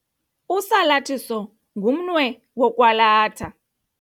Usalathiso ngumnwe wokwalatha.